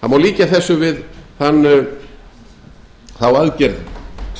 ýmiss konar neikvæð áhrif og því verða þau afnumin eins fljótt og